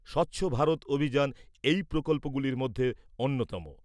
স্বচ্ছ ভারত অভিযান এই প্রকল্পগুলির মধ্যে অন্যতম।